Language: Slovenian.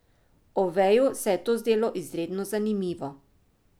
Oveju se je to zdelo izredno zanimivo.